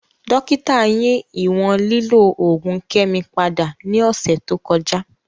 Dokita yi iwọn lilo oogun Kemi pada ni ọsẹ to kọja.